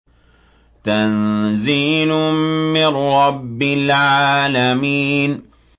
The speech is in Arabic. تَنزِيلٌ مِّن رَّبِّ الْعَالَمِينَ